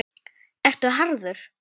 Ertu harður?